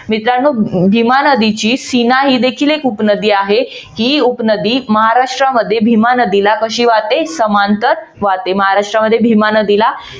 मित्रानो भीमा नदीची सिन्हा ही देखील एक उपनदी आहे. ही उपनदी महाराष्ट्रामध्ये भीमा नदीला कशी वाहते? समांतर वाहते. महाराष्ट्रामध्ये भीमा नदीला